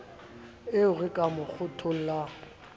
eo re ka mo kgothollang